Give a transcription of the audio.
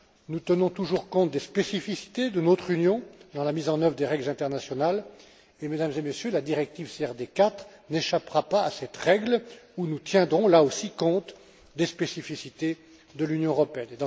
Nous tenons toujours compte des spécificités de notre Union dans la mise en œuvre des règles internationales et, Mesdames et Messieurs, la directive CRD 4 n'échappera pas à cette règle, et nous tiendrons là aussi compte des spécificités de l'Union européenne.